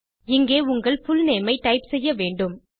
இங்கே உங்கள் புல்நேம் ஐ டைப் செய்ய வேண்டும்